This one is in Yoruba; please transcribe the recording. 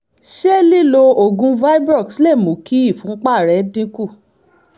ṣé lílo oògùn vibrox lè mú kí ìfúnpá rẹ dínkù?